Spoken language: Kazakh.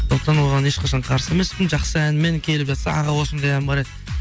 сондықтан оған ешқашан қарсы емеспін жақсы әнмен келіп жатса аға осындай ән бар еді